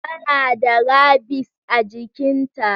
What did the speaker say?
tana da rabies a jikinta.